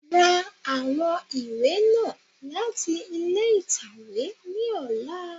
Ra àwọn ìwé náà láti ilé ìtàwé ní ọlá.